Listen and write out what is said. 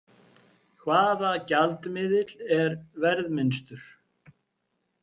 Hvaða gjaldmiðill er verðminnstur?